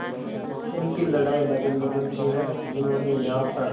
उनकी लड़ाई नगर निगम से है जिन्होंने यहाँ पर